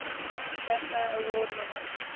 bafta award winners